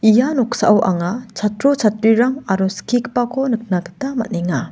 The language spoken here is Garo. ia noksao anga chatro chatrirang aro skigipako nikna gita man·enga.